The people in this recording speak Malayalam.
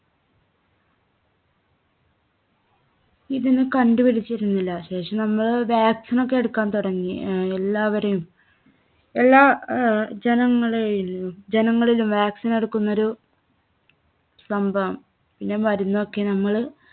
ഇതിന് കണ്ടുപിടിച്ചിരുന്നില്ല. ശേഷം നമ്മള് vaccine ഒക്കെ എടുക്കാൻ തുടങ്ങി. ആഹ് എല്ലാവരെയും എല്ലാ ആഹ് ജനങ്ങളെയും, ജനങ്ങളിലും vaccine എടുക്കുന്നൊരു സംഭവം പിന്നെ മരുന്നൊക്കെ നമ്മള്